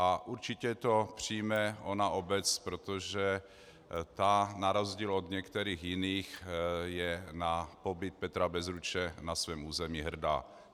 A určitě to přijme ona obec, protože ta na rozdíl od některých jiných je na pobyt Petra Bezruče na svém území hrdá.